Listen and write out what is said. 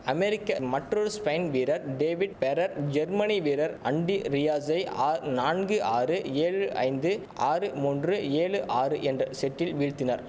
அமெரிக்க மற்றொரு ஸ்பெயின் வீரர் David Ferrer Germany வீரர் அன்டிரியாசை ஆ நான்கு ஆறு ஏழு ஐந்து ஆறு மூன்று ஏழு ஆறு என்ற செட்டில் வீழ்த்தினர்